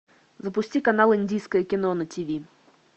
запусти канал индийское кино на тв